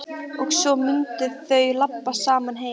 Og svo mundu þau labba saman heim.